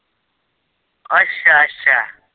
ਅੱਛਾ-ਅੱਛਾ।